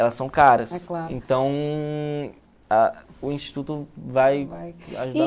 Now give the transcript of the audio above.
Elas são caras, então ah o instituto vai